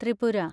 Tripura